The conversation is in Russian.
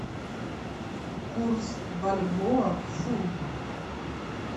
курс бальбоа к фунту